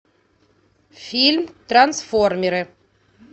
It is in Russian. фильм трансформеры